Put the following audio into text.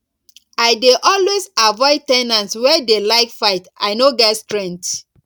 i dey always avoid ten ants wey dey like fight i no get strength